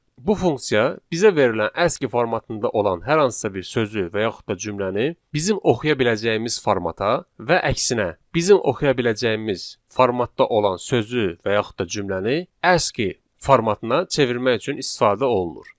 Bu funksiya bizə verilən aski formatında olan hər hansısa bir sözü və yaxud da cümləni bizim oxuya biləcəyimiz formata və əksinə bizim oxuya biləcəyimiz formatda olan sözü və yaxud da cümləni aski formatına çevirmək üçün istifadə olunur.